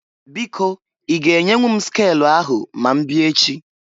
Biko i ga enyenwu m skelu ahụ ma mbịa echi?